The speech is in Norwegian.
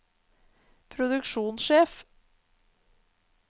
produksjonssjef